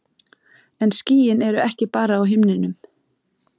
En skýin eru ekki bara á himninum.